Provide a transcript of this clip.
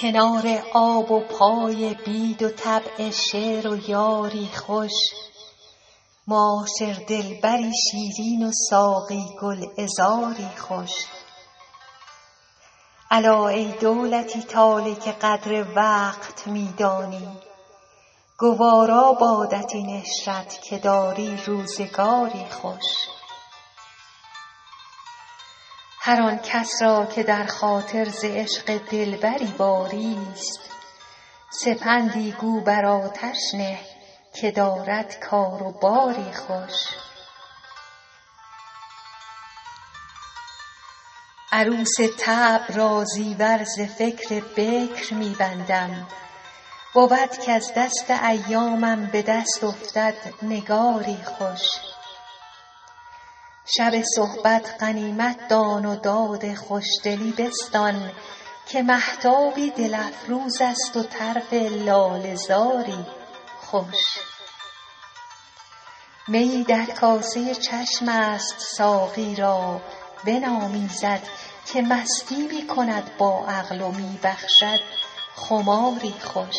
کنار آب و پای بید و طبع شعر و یاری خوش معاشر دلبری شیرین و ساقی گلعذاری خوش الا ای دولتی طالع که قدر وقت می دانی گوارا بادت این عشرت که داری روزگاری خوش هر آن کس را که در خاطر ز عشق دلبری باریست سپندی گو بر آتش نه که دارد کار و باری خوش عروس طبع را زیور ز فکر بکر می بندم بود کز دست ایامم به دست افتد نگاری خوش شب صحبت غنیمت دان و داد خوشدلی بستان که مهتابی دل افروز است و طرف لاله زاری خوش میی در کاسه چشم است ساقی را بنامیزد که مستی می کند با عقل و می بخشد خماری خوش